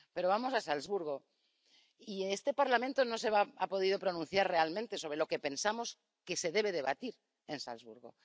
Pero vamos a Salzburgo, y este Parlamento no se ha podido pronunciar realmente sobre lo que pensamos que se debe debatir en Salzburgo.